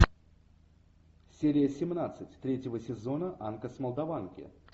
серия семнадцать третьего сезона анка с молдаванки